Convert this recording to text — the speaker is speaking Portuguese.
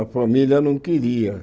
A família não queria.